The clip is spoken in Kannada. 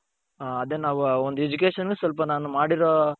ಅದೇ ನಾವು ಒಂದು education ಸ್ವಲ್ಪ ನಾನು ಮಾಡಿರೋ